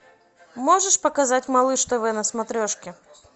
можешь показать малыш тв на смотрешке